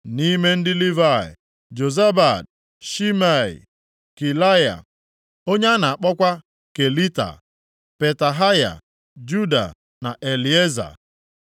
Nʼime ndị Livayị: Jozabad, Shimei, Kelaya (onye a na-akpọkwa Kelita), Petahaya, Juda na Elieza.